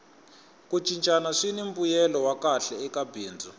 ku cincana swini mbuyelo wa kahle eka bindzu